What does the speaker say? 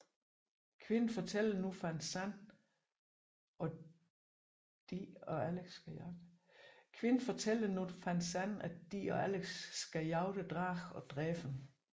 Quinn fortæller nu Van Zan og de og Alex skal jagte dragen og dræbe den